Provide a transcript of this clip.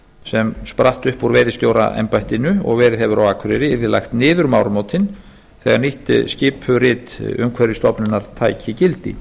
sem spratt upp úr veiðistjóraembættinu og verið hefur á akureyri yrði lagt niður um áramótin þegar nýtt skipurit umhverfisstofnunar tæki gildi